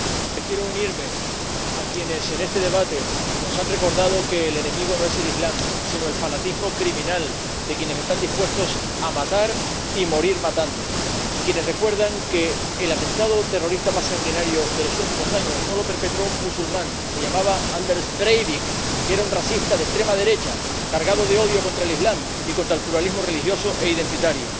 Señor Presidente, quiero unirme a quienes en este debate nos han recordado que el enemigo no es el Islam, sino el fanatismo criminal de quienes están dispuestos a matar y a morir matando y a quienes recuerdan que el atentado terrorista más sanguinario de los últimos años no lo perpetró un musulmán se llamaba Anders Breivik y era un racista de extrema derecha cargado de odio contra el Islam y contra el pluralismo religioso e identitario.